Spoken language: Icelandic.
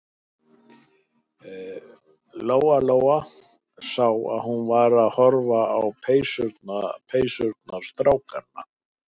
Lóa-Lóa sá að hún var að horfa á peysurnar strákanna.